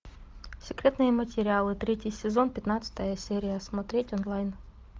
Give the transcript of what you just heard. секретные материалы третий сезон пятнадцатая серия смотреть онлайн